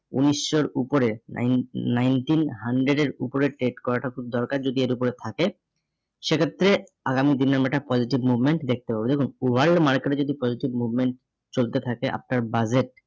উনিশশোর উপরে nine nineteen hundred এর উপরে trade করাটা খুব দরকার যদি এর উপরে থাকে সেক্ষেত্রে আগামী দিনের আমরা positive movement দেখতে পাবো। দেখুন World market এ যদি positive movement চলতে থাকে আপনার budget